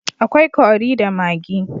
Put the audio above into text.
akwai Curry da maggi